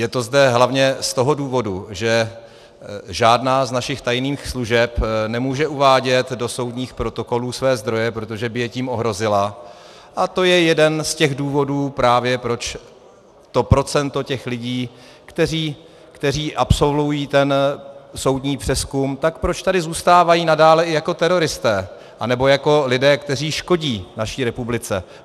Je to zde hlavně z toho důvodu, že žádná z našich tajných služeb nemůže uvádět do soudních protokolů své zdroje, protože by je tím ohrozila, a to je jeden z těch důvodů právě, proč to procento těch lidí, kteří absolvují ten soudní přezkum, tak proč tady zůstávají nadále i jako teroristé anebo jako lidé, kteří škodí naší republice.